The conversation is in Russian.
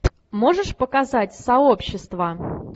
можешь показать сообщество